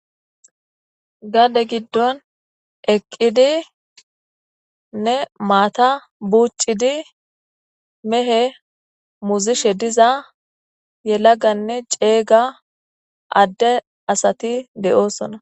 Gadee gidon eqidinne matta bucidi mehe muzishe diza yelagane cega ade asati de'osona